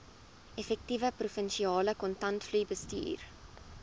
effektiewe provinsiale kontantvloeibestuur